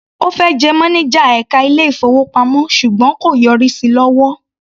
Ó fẹ́ jẹ mánájà ẹka ilé-ìfowópamọ́ ṣùgbọ́n kò yọrí sí lọ́wọ́.